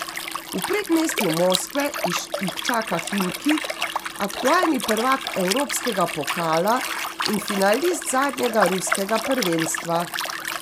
V predmestju Moskve jih čaka Himki, aktualni prvak evropskega pokala in finalist zadnjega ruskega prvenstva.